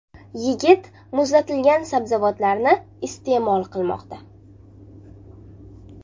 Yigit muzlatilgan sabzavotlarni iste’mol qilmoqda”.